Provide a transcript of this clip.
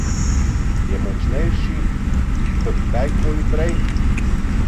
Je močnejši kot kdaj koli prej?